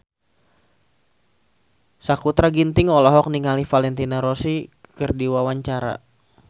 Sakutra Ginting olohok ningali Valentino Rossi keur diwawancara